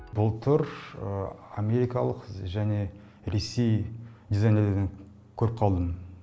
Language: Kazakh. былтыр америкалық және ресей дизайнерлерден көріп қалдым